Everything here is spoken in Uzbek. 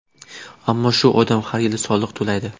Ammo shu odam har yili soliq to‘laydi.